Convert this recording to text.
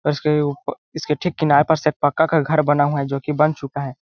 उस के उप इसके ठीक किनारे पास एक पक्का का घर बना हुआ है जो की बन चूका है।